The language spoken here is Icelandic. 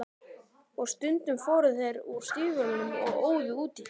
Og stundum fóru þeir úr stígvélunum og óðu út í.